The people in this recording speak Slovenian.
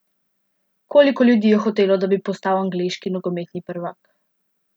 Koliko ljudi je hotelo, da bi postal angleški nogometni prvak?